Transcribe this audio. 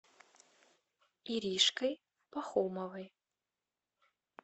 иришкой пахомовой